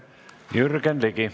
Jürgen Ligi.